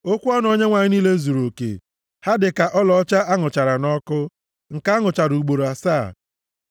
Okwu ọnụ Onyenwe anyị niile zuruoke, ha dịka ọlaọcha a nụchara nʼọkụ, nke a nụchara ugboro asaa.